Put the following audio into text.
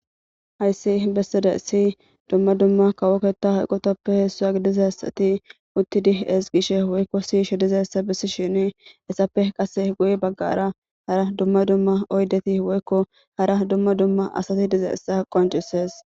Haysi besizaysi dumma dumma kawo keta eqoytappe isuwa gidizaysati utidi ezigishe dizaysa besishn etappe qase guye bagara hara dumma dumma oydeti woyko hara dumma dumma asati dizaysa qoncisesi.